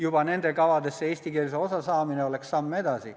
Juba nendesse kavadesse eestikeelse osa saamine oleks samm edasi.